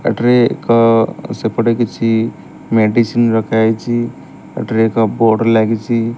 ଏଠାରେ ଏକ ସେପଟେ କିଛି ମେଡ଼ିସିନ ରଖାହେଇଛି ଏଠାରେ ଏକ ବୋର୍ଡ଼ ଲାଗିଛି।